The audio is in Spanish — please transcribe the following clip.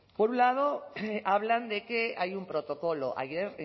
por un lado hablan de que hay un protocolo ayer